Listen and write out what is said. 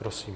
Prosím.